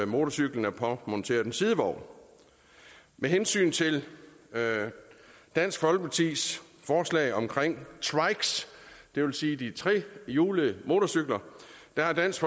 motorcyklen er påmonteret en sidevogn med hensyn til dansk folkepartis forslag omkring trikes det vil sige de trehjulede motorcykler har dansk